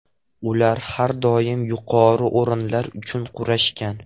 Ular har doim yuqori o‘rinlar uchun kurashgan.